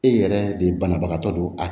E yɛrɛ de banabagatɔ don a